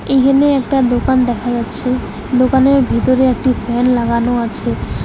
এইহানে একটা দোকান দেখা যাচ্ছে দোকানের ভিতরে একটি ফ্যান লাগানো আছে।